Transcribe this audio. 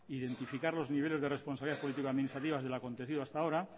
identificar los niveles de responsabilidad político administrativas de lo acontecido hasta ahora